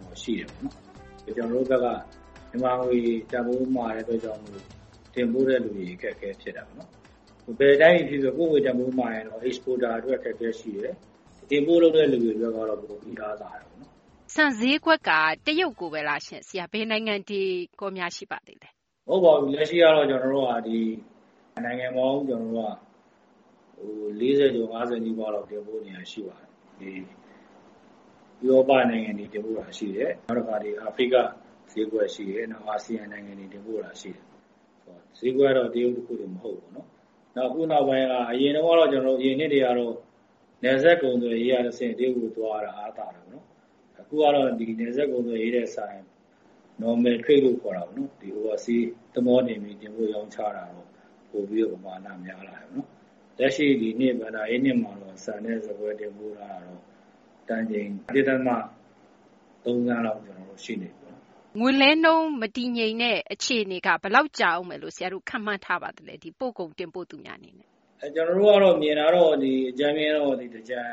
တော့ ရှိတယ်ပေါ့နော်။ ကျနော်တို့ဘက်က မြန်မာငွေ တန်ဖိုး မာတဲ့ အတွက်ကြောင့် မို့လို့ တင်ပို့တဲ့သူတွေ အခက်အခဲ ဖြစ်တာပေါ့နော်။ ဘယ်တိုင်းပြည် ဖြစ်ဖြစ် ကိုယ့်ငွေ တန်ဖိုးမာရင် Exporter အတွက် အခက်အခဲ ရှိတယ်၊ Import လုပ်တဲ့ လူတွေ အတွက်ကတော့ တအားသာတယ်ပေါ့နော်။ ဆန်ဈေးကွက်က တရုတ်ကိုဘဲလား ဆရာ ဘယ်နိုင်ငံတွေများ ရှိပါသေးလဲ။ မဟုတ်ပါဘူး။ အခုက လက်ရှိတော့ နိုင်ငံပေါင်း ၄၀ ကျော် ၅၀ နီးပါးလောက် တင်ပို့နေတာ ရှိပါတယ်။ ဥရောပ နိုင်ငံတွေ တင်ပို့တာ ရှိတယ်။ အာဖရိက ဈေးကွက် ရှိတယ်။ အာဆီယံ နိုင်ငံတွေ တင်ပို့တာ ရှိတယ်။ ဈေးကွက်ကတော့ တရုတ် တခုတင် မဟုတ်ဘူးပေါ့နော်။ နောက် အခုနောက်ပိုင်းက အရင်တုန်းကတော့ အရင်နှစ်တွေကတော့ နယ်စပ် ကုန်သွယ်ရေးက တဆင့် တရုတ်ကို သွားတာ အားသာတယ်ပေါ့နော်။ အခုကတော့ ဒီ နယ်စပ် ကုန်သွယ်ရေးထက် စာရင် Normal Trade လို့ ခေါ်တာပေါ့နော် Oversea သဘောၤတင်ပြီး တင်ပို့ရောင်းချတာ ပိုပြီးတော့ ပမာဏ များလာတယ်။ လက်ရှိ ဒီနှစ် ဘဏ္ဍာရေးနှစ် မှာတော့ ဆန်နဲ့ ဆန်ကွဲ တင်ပို့မှုက တန်ချိန် ၁ ဒသမ ၃ သန်းလောက် ရှိနေပြီပေါ့။ ငွေလဲနှုန်း မတည်ငြိမ်တဲ့ အခြေအနေက ဆရာတို့ ဘယ်လောက် ကြာဦးမယ်လို့ ခန့်မှန်းထားပါသလဲ။ ဒီ ပို့ကုန် တင်ပို့သူများ အနေနဲ့။ မြင်တာတော့ ဒီ အကြမ်းဖျဉ်းတော့ သင်္ကြန်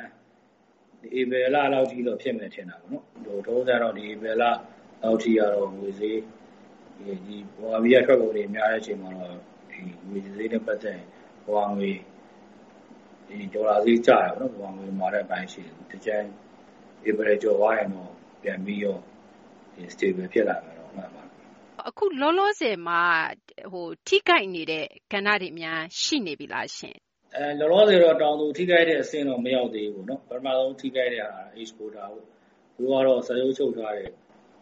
ဧပြီလလောက်ထိတော့ ဖြစ်မယ် ထင်တာဘဲ။ လောလောဆယ်တော့ ဒီ ဧပြီလလောက်ထိ ငွေဈေး ဒီ ဗမာပြည်က ထွက်ကုန်တွေ များတဲ့ အချိန်မှာတော့ ဒီ ငွေဈေးနဲ့ ပတ်သက်ရင် ဒေါ်လာဈေး ကျတာပေါ့နော် ဗမာငွေ မာတဲ့ အပိုင်းရှိတယ်။ သင်္ကြန် ဧပြီ ကျော်သွားရင်တော့ ပြန်ပြီးတော့ တည်ငြိမ်လာမယ်လို့ မှန်းပါတယ်။ အခု လောလောဆယ်မှာ ထိခိုက်နေတဲ့ ကဏ္ဍတွေများ ရှိနေပြီလား။ လောလောဆယ်တော့ တောင်သူ ထိခိုက်တဲ့ အဆင့် ထိတော့ မရောက်သေးဘူးပေါ့နော်။ ပထမဆုံး ထိခိုက်တဲ့ဟာက Exporter ပေါ့။ သူတို့ကတော့ စာချုပ် ချုပ်ထားတယ်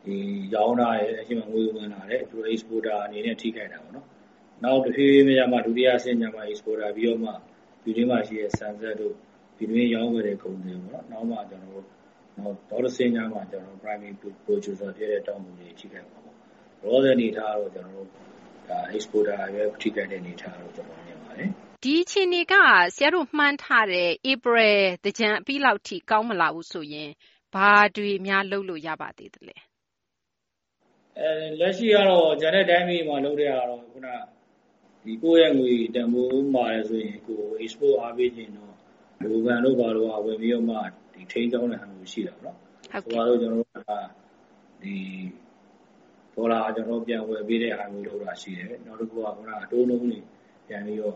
၊ ရောင်းထားတယ်၊ ငွေဝင်လာတယ်၊ Exporter အနေနဲ့ ထိခိုက်တာပေါ့နော်။ နောက် တဖြည်းဖြည်းနဲ့မှ ဒုတိယ အဆင့်ရောက်မှ Exporter ပြီးတော့မှ ပြည်တွင်းမှာ ရှိတဲ့ ဆန်စက်တို့ ၊ ပြည်တွင်း ရောင်းဝယ်တဲ့ ကုန်သည်တို့ နောက်တဆင့်ရောက်မှ Primary Producer တွေ ဖြစ်တဲ့ တောင်သူတွေ ထိခိုက်မှာ။ လောလောဆယ် အနေအထားကတော့ ကျနော်တို့ ဒါ Exporter တွေဘဲ ထိခိုက်တဲ့ အနေအထားလို့ ကျနော် မြင်ပါတယ်။ ဒီအခြေအနေက ဆရာတို့ မှန်းထားတဲ့ ဧပြီ သင်္ကြန် အပြီးလောက်ထိ ကောင်းမလာဘူးဆိုရင် ဘာတွေများ လုပ်လို့ ရပါသေးသလဲ။ လက်ရှိကတော့ ကျန်တဲ့ တိုင်းပြည်တွေမှာ လုပ်တဲ့ဟာကတော့ ခုန ကိုယ့်ရဲ့ ငွေတန်ဖိုးမာတယ်ဆိုရင် Export အားပေးချင်ရင်တော့ ဗဟိုဘဏ်တို့ ဘာတို့က ဝင်ပြီးတော့ ထိန်းကျောင်းတဲ့ ဟာမျိုး ရှိတာပေါ့။ ဒေါ်လာ ပြန်ဝယ်ပေးတဲ့ဟာမျိုး လုပ်တာ ရှိတယ်။ နောက်တခုက ခုန အတိုးနှုန်းတွေ ပြန်ပြီးတော့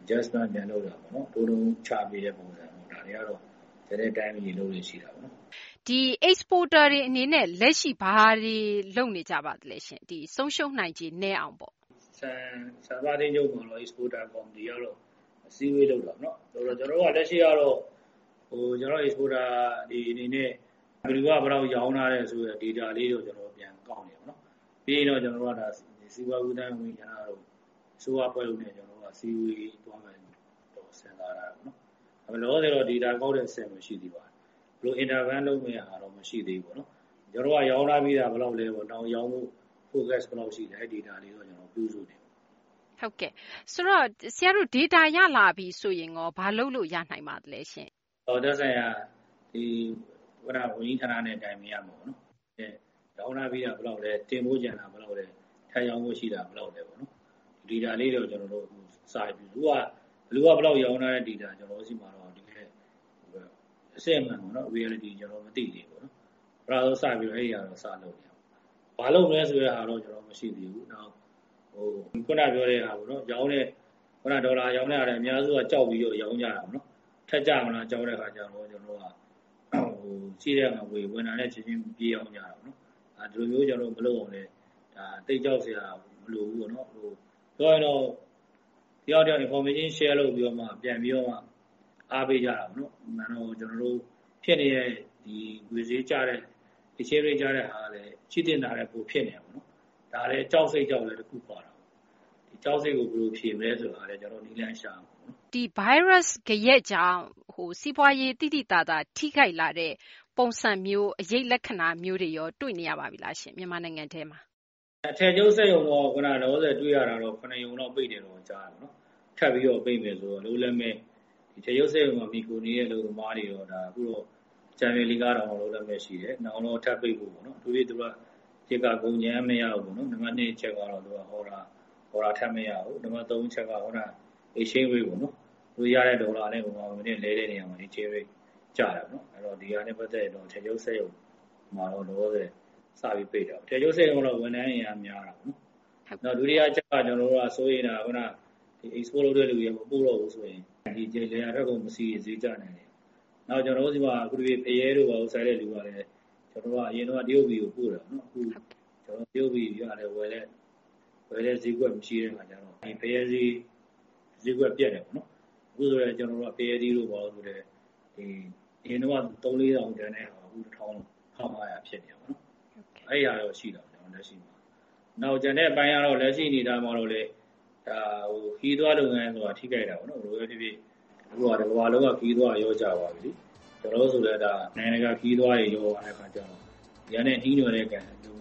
Adjustment ပြန်လုပ်တာပေါ့နော် ၊ အတိုးနှုန်း ချပေးတဲ့ ပုံစံ ဒါတွေကတော့ ကျန်တဲ့ တိုင်းပြည်တွေ လုပ်လေ့ရှိတာပေါ့နော်။ ဒီ Exporter တွေ အနေနဲ့ လက်ရှိ ဘာတွေ လုပ်နေကြပါသလဲရှင့်။ ဆုံးရှုံးနိုင်ခြေ နည်းအောင်ပေါ့။ ဆန်စပါး အသင်းချုပ်က Exporter ကော်မတီကတော့ အစည်းအဝေး လုပ်တာပေါ့နော်။ ကျနော်တို့က လက်ရှိကတော့ ကျနော်တို့ Exporter တွေ အနေနဲ့ ဘယ်သူက ဘယ်လောက် ရောင်းထားတယ်ဆိုတဲ့ ဒေတာလေးတွေကိုတော့ ကျနော်တို့ ပြန်ကောက်နေတယ်ပေါ့နော်။ ပြီးရင်တော့ ကျနော်တို့ စီးပွားကူးသန်းတို့၊ အစိုးရ အဖွဲ့တို့နဲ့ ကျနော်တို့ အစည်းအဝေး သွားမယ်လို့တော့ ကျနော်တို့ စဉ်းစားထားတယ်။ လောလောဆယ်တော့ ဒေတာ ကောက်တဲ့ အဆင့်ဘဲ ရှိသေးတာပေါ့။ ဘယ်လို ကြားဝင် ဆောင်ရွက်မလဲ ဆိုတဲ့ဟာတော့ မရှိသေးဘူးပေါ့နော်။ ရောင်းထားပြီးတာ ဘယ်လောက်လဲပေါ့။ နောက် ရောင်းဖို့ Focus ဘယ်လောက် ရှိလဲ အဲဒီ ဒေတာလေးတွေ ပြုစုနေတယ်။ ဆိုတော့ ဆရာတို့ ဒေတာ ရလာတော့ရော ဘာလုပ်လို့ ရနိုင်ပါသလဲရှင့်။ သက်ဆိုင်ရာ ဝန်ကြီးဌာနနဲ့ တိုင်ပင်ရမှာပေါ့နော်။ ရောင်းထားပြီးတာ ဘယ်လောက်လဲ ၊ တင်ပို့ကျန်တာ ဘယ်လောက်လဲ၊ ထပ်ရောင်းဖို့ ရှိတာ ဘယ်လောက်လဲပေါ့။ ဒေတာလေးတွေတော့ စနေပြီ။ အခုဟာက ဘယ်သူက ဘယ်လောက် ရောင်းထားတဲ့ ဒေတာ ကျနော်တို့ ဆီမှာ အစစ်အမှန်ပေါ့နော်။ Reality ကျနော်တို့ မသိသေးဘူး။ ပထမဆုံး စပြီးတော့ အဲဒီဟာတော့ စလုပ်နေတယ်။ ဘာလုပ်မလဲ ဆိုတဲ့ဟာတော့ မရှိသေးဘူး။ ခုန ပြောတဲ့ဟာပေါ့နော် ရောင်းတဲ့ ဒေါ်လာရောင်းတဲ့ဟာလည်း အများစုက ကြောက်ပြီး ရောင်းကြတာပေါ့နော်။ ထပ်ကျလာမလား ကြောက်တဲ့ အခါကျတော့ ကျနော်တို့က ရှိတဲ့ငွေ ဝင်တာနဲ့ ချက်ချင်း ပြေးရောင်းကြတာပေါ့နော်။ ဒီလိုမျိုးတွေ မလုပ်အောင်လည်းဘဲ ဒါ သိပ်ကြောက်စရာ မလိုဘူးပေါ့နော်။ အခုကတော့ တယောက်နဲ့ တယောက် Information Share လုပ်ပြီးတော့ ပြန်ပြီးတော့ အားပေးကြတာပေါ့။ အမှန်တော့ ဖြစ်နေတဲ့ ငွေဈေးကျတဲ့ Exchange Rate ကျတဲ့ဟာကလည်း ရှိသင့်တာထက် ပိုဖြစ်နေတာပေါ့နော်။ ဒါလည်း ကြောက်စိတ်ကြောင့်လည်း တခု ပါတာပေါ့။ ကြောက်စိတ်ကို ဘယ်လို ဖြေမလဲ ဆိုတာလည်း ကျနော်တို့ နည်းလမ်း ရှာရမှာပေါ့နော်။ ဒီ ဗိုင်းရပ်စ် ဂယက်ကြောင့် စီးပွားရေး သိသိသာသာ ထိခိုက်လာတဲ့ အခြေအနေမျိုး အရိပ်လက္ခဏာမျိုးတွေရော တွေ့နေရပါပြီလားရှင့် မြန်မာနိုင်ငံထဲမှာ။ အထည်ချုပ် စက်ရုံတော့ လောလောဆယ် တွေ့ရတာကတော့ ၇ ရုံလောက် ပိတ်တယ်လို့ ကြားတာပေါ့နော်။ ထပ်ပြီးတော့ ပိတ်မယ်ဆိုတော့ အလုပ်လက်မဲ့ အထည်ချုပ် စက်ရုံပေါ် မှီခိုနေတဲ့ အလုပ်သမားတွေတော့ အကြမ်းဖျဉ်း ၄,၀၀၀ / ၅,၀၀၀ လောက် အလုပ်လက်မဲ့ ရှိတယ်။ ၁ က ကုန်ကြမ်းမရလို့ပေါ့နော်။ နံပတ် ၂ အချက်က အော်ဒါ ထပ်မရဘူး။ နံပတ် ၃ အချက်က ခုန Exchange Rate ပေါ့နော် သူတို့ရတဲ့ ဒေါ်လာနဲ့ မြန်မာ ငွေနဲ့ လဲတဲ့ အခါမှာ ငွေလဲနှုန်း ကျတာပေါ့နော်။ အဲတော့ ဒီဟာနဲ့ ပတ်သက်ရင်တော့ အထည်ချုပ် စက်ရုံတွေ လောလောဆယ် စပြီး ပိတ်တာပေါ့။ အထည်ချုပ် စက်ရုံကတော့ ဝန်ထမ်း အင်အား များတာပေါ့နော်။ နောက် ဒုတိယ အချက်က ကျနော်က စိုးရိမ်တာက Export လုပ်တဲ့ လူတွေ မပို့တော့ဘူးဆိုရင် ဒီ လယ်ယာထွက်ကုန် ပစ္စည်းတွေ ဈေးကျနိုင်တယ်။ နောက် ကျနော်တို့ ဆီမှာ အထူးသဖြင့် ဖရဲတို့ ဘာတို့ စိုက်တဲ့သူတွေ အရင်ကတော့ တရုတ်ပြည်ကို ပို့တာပေါ့။ အခု တရုတ်ပြည်ကလည်း ဝယ်တဲ့ ဈေးကွက် မရှိတဲ့ အခါကျတော့ ဖရဲဈေး ဈေးကွက် ပျက်တယ်ပေါ့နော်။ အခုဆိုလည်း ကျနော်တို့ ဖရဲသီးတို့ ဘာတို့ ဆိုလည်း အရင်က ၃၀၀၀ / ၄၀၀၀ တန်တဲ့ဟာ အခု ၁၀၀၀ - ၁၅၀၀ ဖြစ်နေတာပေါ့နော်။ အဲဒီဟာတော့ ရှိတာပေါ့။ လက်ရှိမှာ။ နောက် ကျန်တဲ့ အပိုင်းကတော့ လက်ရှိ အနေအထားမှာတော့လည်း ခရီးသွား လုပ်ငန်းတော့ ထိခိုက်တာပေါ့။ ဘယ်လိုဘဲ ဖြစ်ဖြစ် အခုဟာ တကမ္ဘာလုံးက ခရီးသွားတာ လျော့ကျသွားပြီလေ။ နိုင်ငံတကာ ခရီးသွားတွေ လျော့ကျတော့ ကျန်တဲ့ နှီးနွယ်တဲ့ လုပ်ငန